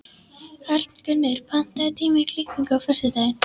Arngunnur, pantaðu tíma í klippingu á föstudaginn.